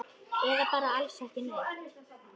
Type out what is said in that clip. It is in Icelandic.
Eða bara alls ekki neitt?